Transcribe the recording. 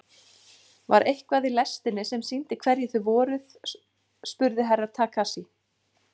Var eitthvað í lestinni sem sýndi hverjir þið voruð spurði Herra Takashi.